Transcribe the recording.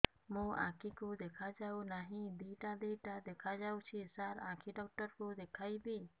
ମୋ ଆଖିକୁ ଦେଖା ଯାଉ ନାହିଁ ଦିଇଟା ଦିଇଟା ଦେଖା ଯାଉଛି ସାର୍ ଆଖି ଡକ୍ଟର କୁ ଦେଖାଇବି